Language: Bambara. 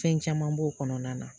Fɛn caman b'o kɔnɔna na